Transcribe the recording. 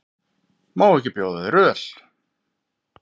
Má ekki bjóða þér öl?